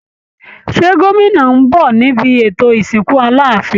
Ṣé gómìnà ń bọ̀ níbi ètò ìsìnkú Aláàfin?